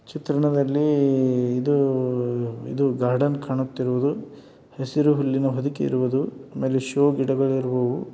ಚಿತ್ರಣದಲ್ಲಿ ಇದು ಇದು ಗಾರ್ಡನ್ ಕಾಣುತ್ತಿರುವುದು ಹಸಿರು ಹುಲ್ಲಿನ ಹೊದಿಕೆ ಇರುವುದು ಆಮೇಲೆ ಶೋ ಗಿಡಗಳು ಇರುವುವು --